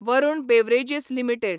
Varun beverages limited